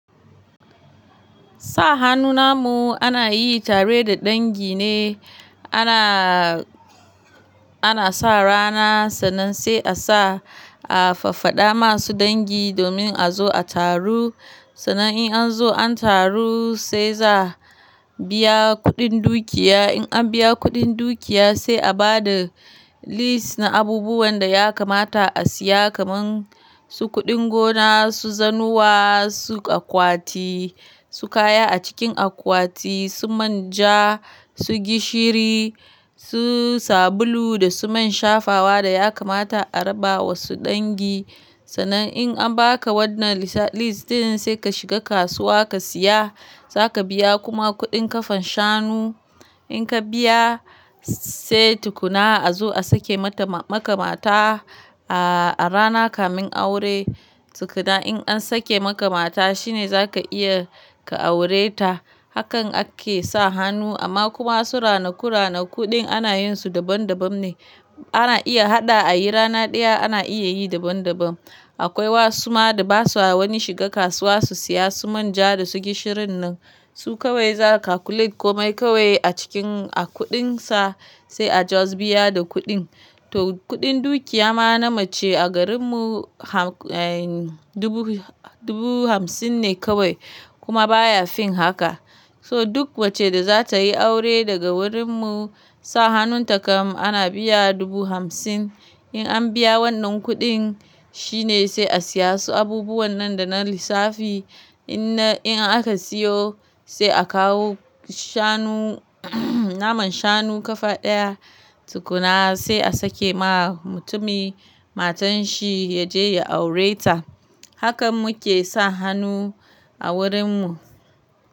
Sa hannu namu ana yi tare da dangi ne. Ana, ana sa rana sannan sai a sa a faffada masu dangi domin a zo a taru. Sannan in an zo an taru sai za biya kuɗin dukiya. In an biya kuɗin dukiya sai a ba da list na abubuwan da ya kamata a siya kamar su kuɗin gona, su zanuwa, su akwati, su kaya a cikin akwati, su manja, su gishiri, su sabulu da su man shafawa da ya kamata a raba wa su dangi. Sannan in an baka wannan lissa-list in sai ka shiga kasuwa ka siya, za ka biya kuma kuɗin kafan shanu. In ka biya sai tukuna a zo a sake mata maka mata a rana kamin aure. Tukuna in an sake maka mata shine za ka iya ka aure ta. Hakan ake sa hannu amma kuma su ranaku-ranakuɗin ana yin su daban-daban ne. Ana iya haɗa a yi rana ɗaya ana iya yi daban-daban. Akwai wasu ma da ba su wani shiga kasuwa su siya su manja da su gishirin nan. Su kawai za ka calculate komai kawai a cikin a kuɗin sa sai a just biya da kuɗin. To kuɗin dukiya ma na mace a garin mu ham, eh, dubu, dubu hamsin ne kawai kuma baya fin haka. So duk mace da za ta yi aure daga wurin mu sa hannun takam ana biya dubu hamsin. In an biya wannan kuɗin shine sai a siya su abubuwan nan da na lissafi. In na, in aka siyo sai a kawo shanu, naman shanu kafa ɗaya tukuna sai a sake ma mutumi matan shi ya je ya aure ta. Hakan muke sa hannu a wurin mu.